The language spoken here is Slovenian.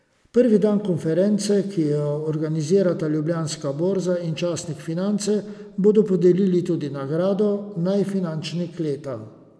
Prvi dan konference, ki jo organizirata Ljubljanska borza in časnik Finance, bodo podelili tudi nagrado Najfinančnik leta.